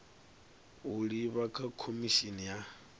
u livha kha khomishini ya